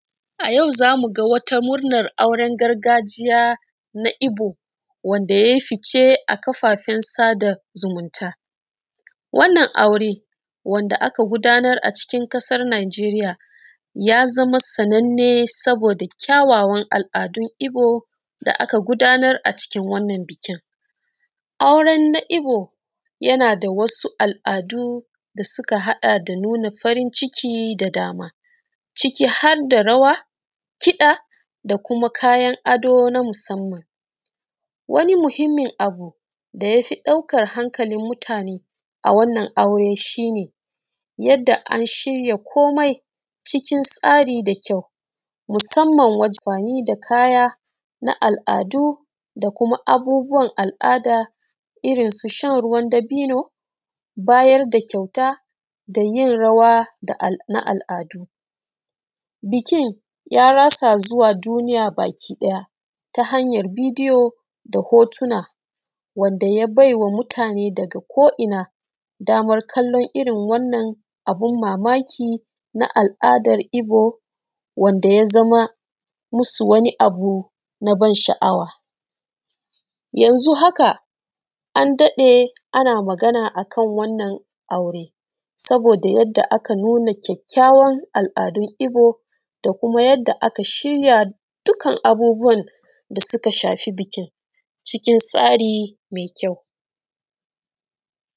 A yau zamuga wata murnan auren gargajiya na ibo, da yai fice a kafafen sada zumunta. Wannan aure wanda aka agudanar a cikin ƙasar najeriya, ya zama sannan ne saboda kyawawan al’adun ibo da aka gudanar a cikin wannan biki. Aure na ibo yanada wasu al’adu da suka nuna farin ciki da dama ciki hadda rawa, kiɗa da kuma kayan ado na musamman. Wani muhimmin abu da yafi ɗaukan hankalin mutane a wannan aure shine, yanda antsara komai cikin tsari da kyau musamman amfani da kaya na al’adu da kuma abubuwan al’ada irrin su shan ruwan dabino, bayar da kyauta dayin rawa na al’adu. Bikin ya ratsa zuwa duniya baki ɗaya ta hanyar bideyo da hotuna wadda ya baiwa mutane daga ko inna damar kallon irrin wannan abun mamaki na al’adan ibo wanda yazama musu wani abu naban sha’awa. Yanzu haka an daɗe ana Magana akan wannan aure saboda yanda aka nuna kyakkyawan a’adun ibo da kuma yanda aka shirya dukkan abubuwan da suka shafi bikin cikin tsari mai kyau.